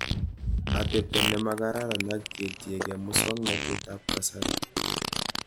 Atepto nemakraran ak ketiekei muswognatet ab kasari